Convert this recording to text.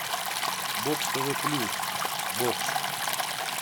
бокс тв плюс бокс